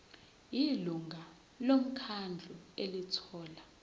ilungu lomkhandlu elithola